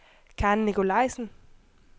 Karen Nicolaisen